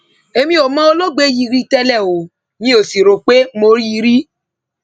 èmi ò mọ olóògbé yìí rí tẹlẹ ó mì ò sì rò pé mo rí i rí